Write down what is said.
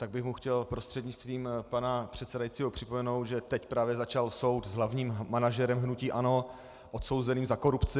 Tak bych mu chtěl prostřednictvím pana předsedajícího připomenout, že teď právě začal soud s hlavním manažerem hnutí ANO odsouzeným za korupci.